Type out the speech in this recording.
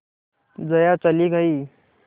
जया चली गई